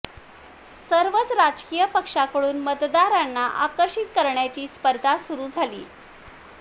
सर्वच राजकीय पक्षांकडून मतदारांना आकर्षित करण्याची स्पर्धा सुरू झालीय